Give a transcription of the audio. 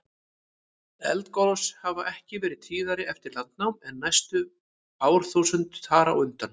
Eldgos hafa ekki verið tíðari eftir landnám en næstu árþúsund þar á undan.